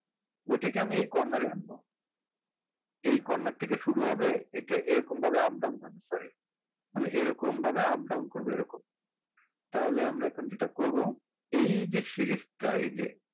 ওইটাকে আমি এই corner এ আনবো এই corner থেকে শুরু হবে এটা এরকম ভাবে up down করতে পারে মানে এরকম ভাবে up down করবে এরকম তাহলে আমরা যেটা এখন করবো এই সে series টা এই যে